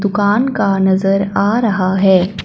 दुकान का नजर आ रहा है।